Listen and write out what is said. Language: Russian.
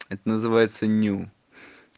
это называется ню